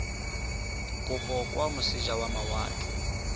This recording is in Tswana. kopo kwa moseja wa mawatle